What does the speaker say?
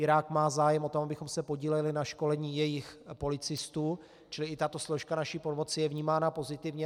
Irák má zájem o to, abychom se podíleli na školení jejich policistů, čili i tato složka naší pomoci je vnímána pozitivně.